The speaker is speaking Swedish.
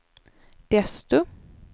desto